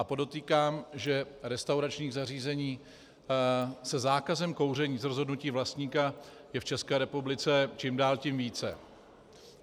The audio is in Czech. A podotýkám, že restauračních zařízení se zákazem kouření z rozhodnutí vlastníka je v České republice čím dál tím více.